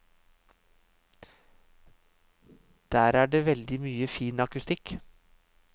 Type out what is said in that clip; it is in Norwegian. Der er det veldig mye fin akustikk.